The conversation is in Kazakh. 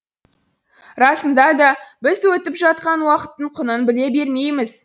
расында да біз өтіп жатқан уақыттың құнын біле бермейміз